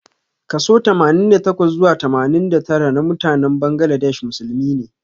Kaso Tamanin da takwa zuwa tamanin da tara namutanen Bangladesh musulmi ne.